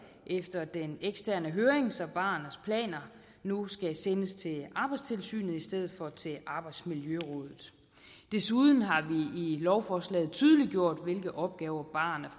efter den eksterne høring så barernes planer nu skal sendes til arbejdstilsynet i stedet for til arbejdsmiljørådet desuden har vi lovforslaget tydeliggjort hvilke opgaver barerne